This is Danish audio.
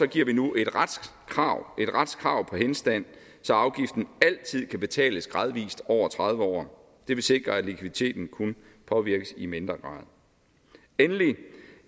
giver vi nu et retskrav retskrav på henstand så afgiften altid kan betales gradvist over tredive år det vil sikre at likviditeten kun påvirkes i mindre grad endelig